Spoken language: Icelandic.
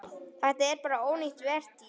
Þetta er bara ónýt vertíð.